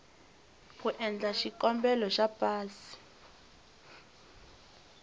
ku endla xikombelo xa pasi